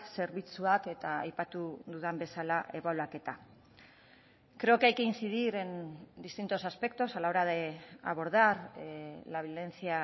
zerbitzuak eta aipatu dudan bezala ebaluaketa creo que hay que incidir en distintos aspectos a la hora de abordar la violencia